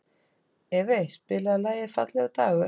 Evey, spilaðu lagið „Fallegur dagur“.